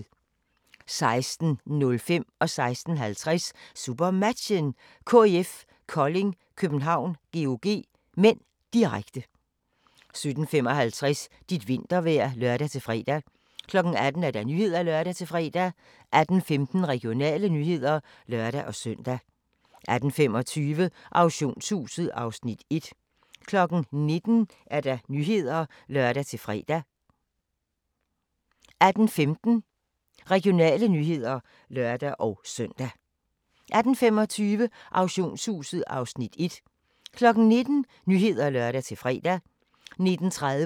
16:05: SuperMatchen: KIF Kolding København-GOG (m), direkte 16:50: SuperMatchen: KIF Kolding København-GOG (m), direkte 17:55: Dit vintervejr (lør-fre) 18:00: Nyhederne (lør-fre) 18:15: Regionale nyheder (lør-søn) 18:25: Auktionshuset (Afs. 1) 19:00: Nyhederne (lør-fre) 19:30: